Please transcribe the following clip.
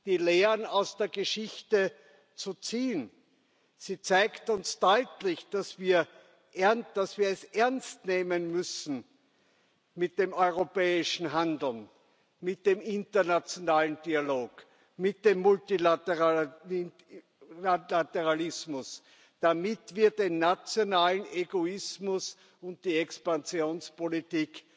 die Lehren aus der Geschichte zu ziehen. Sie zeigen uns deutlich, dass wir es ernst nehmen müssen, mit dem europäischen Handeln, mit dem internationalen Dialog, mit dem Multilateralismus, damit wir den nationalen Egoismus und die Expansionspolitik